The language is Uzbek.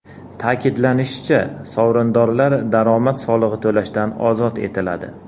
Ta’kidlanishicha, sovrindorlar daromad solig‘i to‘lashdan ozod etiladi.